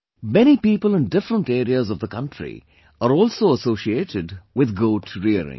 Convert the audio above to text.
Many people in different areas of the country are also associated with goat rearing